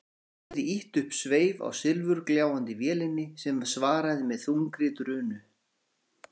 Hafliði ýtti upp sveif á silfurgljáandi vélinni sem svaraði með þungri drunu.